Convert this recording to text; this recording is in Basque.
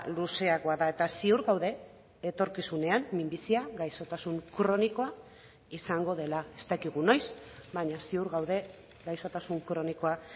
luzeagoa da eta ziur gaude etorkizunean minbizia gaixotasun kronikoa izango dela ez dakigu noiz baina ziur gaude gaixotasun kronikoa